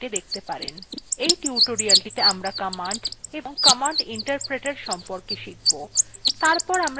in টিউটোরিয়ালেটিতে আমরা commands এবং commands interpreter সম্পর্কে শিখব